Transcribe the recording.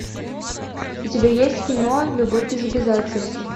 у тебя есть кино любовь без обязательств